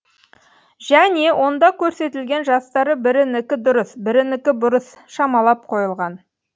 және онда көрсетілген жастары бірінікі дұрыс бірінікі бұрыс шамалап қойылған